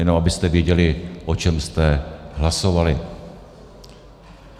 Jenom abyste věděli, o čem jste hlasovali.